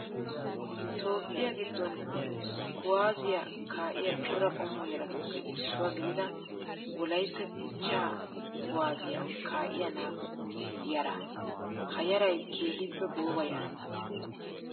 Toophphiyaa giddon kuwaazziyaa kaa''iyaa cora qommo yaratuppe issuwaa gidida wolayitta dichchaa kuwaazziyaa kaa''iyaa naatu yaaraa. Ha yarayi keehippe gooba yaraa.